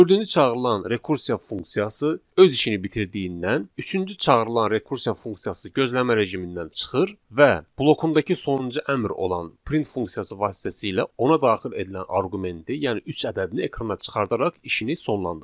Dördüncü çağırılan rekursiya funksiyası öz işini bitirdiyindən, üçüncü çağırılan rekursiya funksiyası gözləmə rejimindən çıxır və blokundakı sonuncu əmr olan print funksiyası vasitəsilə ona daxil edilən arqumenti, yəni üç ədədini ekrana çıxardaraq işini sonlandırır.